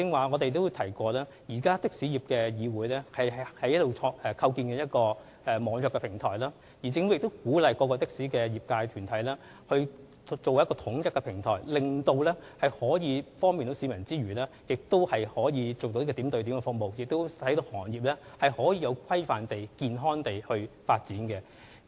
我剛才也提到，香港的士業議會正在構建一個網約平台，而政府亦鼓勵各的士業界團體建立平台，這既可以方便市民，又可以提供點對點服務，更能令的士行業有規範和健康地發展。